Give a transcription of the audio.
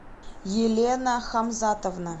елена хамзатовна